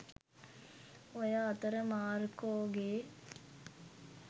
ඔය අතර මාර්කෝ ගේ